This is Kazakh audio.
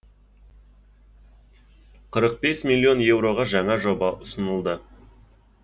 қырық бес миллион еуроға жаңа жоба ұсынылды